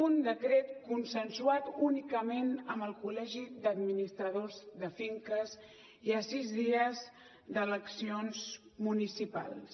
un decret consensuat únicament amb el col·legi d’administradors de finques i a sis dies d’eleccions municipals